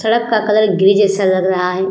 सड़क का colour grey जैस लग रहा है।